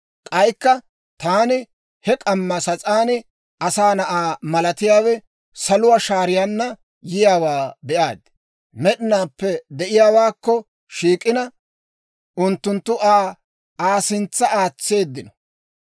«K'aykka taani he k'amma sas'aan, asaa na'aa malatiyaawe saluwaa shaariyaanna yiyaawaa be'aad. Med'inaappe De'iyaawaakko shiik'ina, unttunttu Aa Aa sintsa aatseeddino.